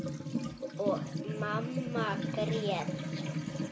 Þeim siðlegu fækkar.